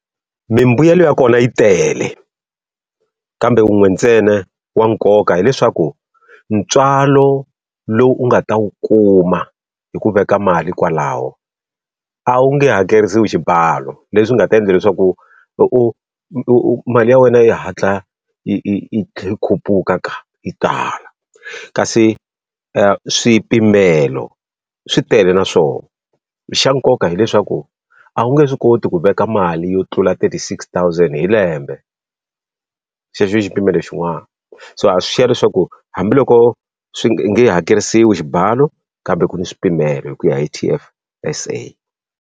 Mimbuyelo ya kona yi tele, kambe wun'we ntsena wa nkoka hileswaku ntswalo lowu u nga ta wu kuma hi ku veka mali kwalaho a wu nge hakeriwi xibalo. Leswi nga ta endla leswaku u u u mali ya wena yi hatla yi yi yi khuphuka yi tala. Kasi swipimelo swi tele na swona, xa nkoka hileswaku a wu nge swi koti ku veka mali yo tlula thirty six thousand hi lembe. Xexo i xi pimelo xin'wana. So ha swi xiya leswaku hambiloko swi nge i nge hakerisiwi xibalo, kambe ku na swipimelo hi ku ya hi T_F_S_A.